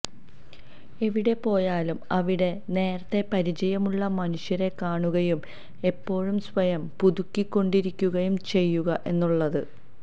എവിടെ പോയാലും അവിടെ നേരത്തെ പരിചയമുള്ള മനുഷ്യരെ കാണുകയും എപ്പോഴും സ്വയം പുതുക്കി കൊണ്ടിരിക്കുകയും ചെയ്യുക എന്നുള്ളത്